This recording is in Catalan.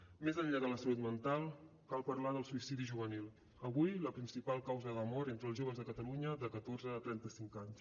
més enllà de la salut mental cal parlar del suïcidi juvenil avui la principal causa de mort entre els joves de catalunya de catorze a trenta cinc anys